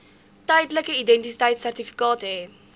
tydelike identiteitsertifikaat hê